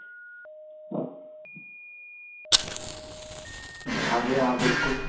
ਹਾਂਜੀ ਹਾਂ ਬਿਲਕੁਲ